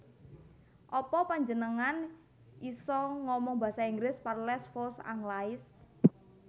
Apa panjenengan bisa omong basa Inggris Parlez vous anglais